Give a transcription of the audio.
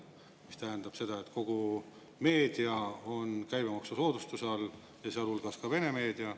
See tähendab, et kogu meedia on käibemaksusoodustuse all, sealhulgas ka vene meedia.